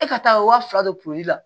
E ka taa waa fila don la